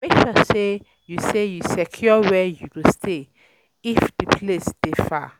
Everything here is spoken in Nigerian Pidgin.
Make sure say you say you secure where you go stay if di place de far